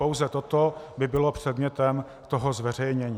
Pouze toto by bylo předmětem toho zveřejnění.